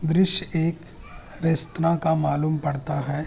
दॄश्य एक रेस्त्रां का मालूम पड़ता है।